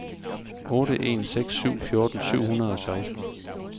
otte en seks syv fjorten syv hundrede og seksten